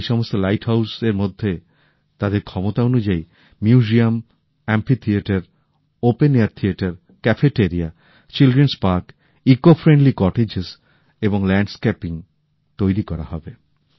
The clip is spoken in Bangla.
এই সমস্ত লাইট হাউজ এর মধ্যে তাদের ক্ষমতা অনুযায়ী যাদুঘর অ্যাম্পফি থিয়েটার মুক্তমঞ্চ ক্যাফেটেরিয়া শিশু উদ্যানপরিবেশ বান্ধব কটেজ এবং মনোরম পরিবেশ তৈরি করা হবে